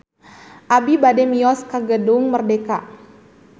Abi bade mios ka Gedung Merdeka